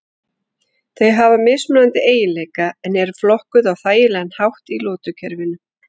Þau hafa mismunandi eiginleika en eru flokkuð á þægilegan hátt í lotukerfinu.